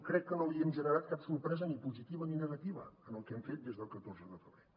crec que no li hem generat cap sorpresa ni positiva ni negativa en el que hem fet des del catorze de febrer